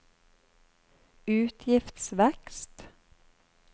utgiftsvekst